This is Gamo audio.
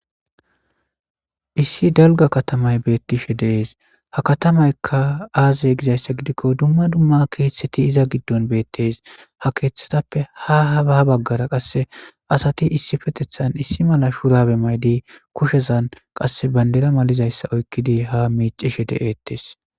Issi dalga katamay beettishe dees ha katamaykka aazey gizayssa gidikko dumma dumma keeththeti iza giddon beettes ha keeththatappe ha habaa baggara qasse asati issi fetethan issi mala shurabe maydi kushezan qasse bandera malizayssa oykkidi ha miicishe de'eettes